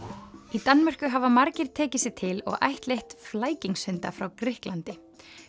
í Danmörku hafa margir tekið sig til og ættleitt frá Grikklandi